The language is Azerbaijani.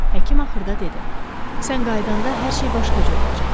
Həkim axırda dedi: "Sən qayıdanda hər şey başqa cür olacaq.